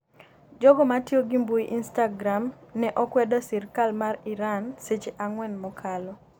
Jogo matiyo gi mbui instagram ne okwedo sirikal mar Iran seche ang'wen mokalo